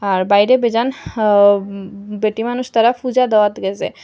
আর বাইরে বেজান হা ও বেটিমানুষ তারা পূজা দেওয়াত গেসে।